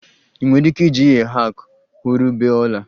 Ị nwere ike iji a hack hụrụ bee ọla